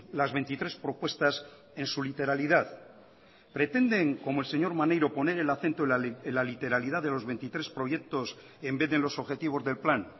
las veintitrés propuestas en su literalidad pretenden como el señor maneiro poner el acento en la literalidad de los veintitrés proyectos en vez de en los objetivos del plan